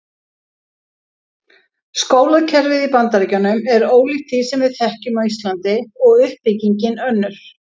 Skólakerfið í Bandaríkjunum er ólíkt því sem við þekkjum á Íslandi og uppbyggingin önnur.